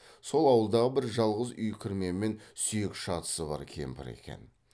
сол ауылдағы бір жалғыз үй кірмемен сүйек шатысы бар кемпір екен